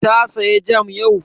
Ta saya jam yau?